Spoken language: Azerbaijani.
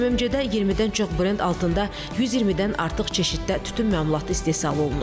MMC-də 20-dən çox brend altında 120-dən artıq çeşiddə tütün məmulatı istehsal olunur.